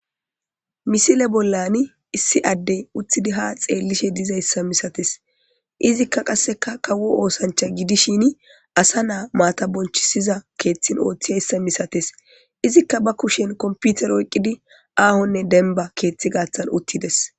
Misile bollani issi addey uttidi ha xeellishe dizayssa misates izikka qasseka kawo oosancha gidishin asa naa maata bonchisiza keeththin ooththizayssa misates izikka ba kushen komputer oyqqidi aahonne denba keeththi gaathan uttides.